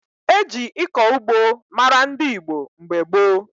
E ji ịkọ ugbo mara ndị Igbo mgbe gboo.